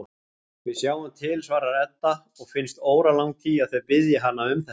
Við sjáum til, svarar Edda og finnst óralangt í að þau biðji hana um þetta.